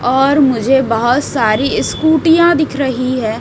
और मुझे बहुत सारी स्कूटीयां दिख रही है।